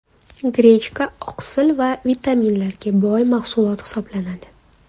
Grechka oqsil va vitaminlarga boy mahsulot hisoblanadi.